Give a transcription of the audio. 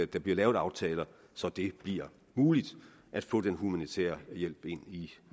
der bliver lavet aftaler så det bliver muligt at få den humanitære hjælp ind i